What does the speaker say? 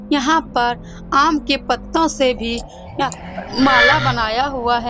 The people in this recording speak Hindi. यहाँ पर आम के पत्तो से भी माला बनाया हुआ है।